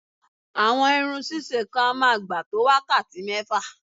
Àwọn irun ṣíṣe kan á máa gbà tó wákàtí mẹ́fà